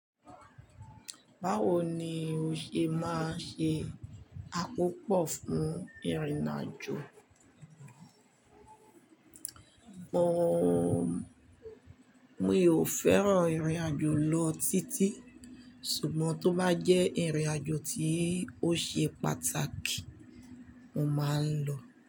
Báwo ni o ṣe máa ṣe àkópọ̀ fún ìrìn àjò? Ọ̀, mí ò fẹ́ràn ìrìn àjò lọ títí, ṣùgbọ́n tó bá jẹ́ ìrìn àjò tí ó ṣe pàtàkì, mo máa ń lọ.